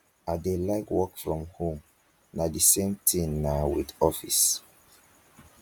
i dey like work from home na the same thing naa with office